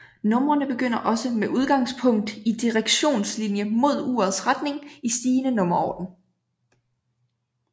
Numrene begynder også med udgangspunkt i Direktionslinie mod urets retning i stigende nummerorden